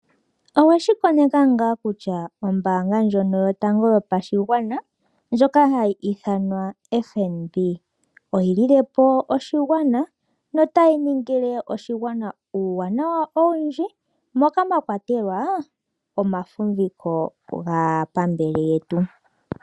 Oweshikoneka ngaa kutya oombaanga ndjono yotango yopashigwana, ndjoka hayi ithanwa FNB, oyi lilepo oshigwana, notayi niningile oshigwana uuwanawa owindji moka mwakwatelwa omafumbiko gaapambele yetu.